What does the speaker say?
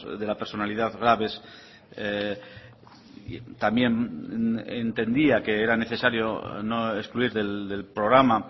de la personalidad graves también entendía que era necesario no excluir del programa